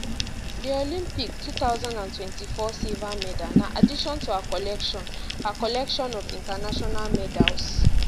di olympic twenty four silver medal na addition to her collection her collection of international medals